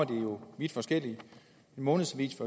det jo vidt forskellige en månedsavis